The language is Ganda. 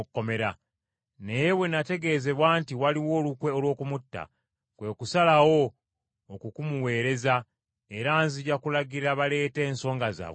Naye bwe nategeezebwa nti waliwo olukwe olw’okumutta, kwe kusalawo okukumuweereza, era nzija kulagira baleete ensonga zaabwe gy’oli.